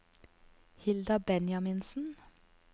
Hilda Benjaminsen